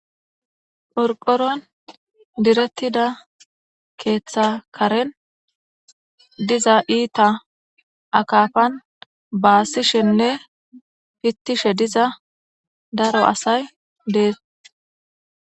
porqoron direttida keeththa karen diza iita akafan baasishenne pittishe diza daro asay dees